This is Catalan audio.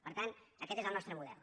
per tant aquest és el nostre model